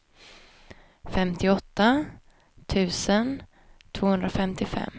femtioåtta tusen tvåhundrafemtiofem